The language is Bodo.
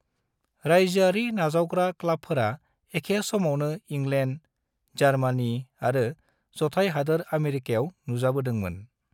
रायजोआरि नावजावग्रा क्लाबफोरा एखे समावनो इंलेन्ड, जार्मानी आरो ज'थाय हादोर आमेरिकायाव नुजाबोदोंमोन।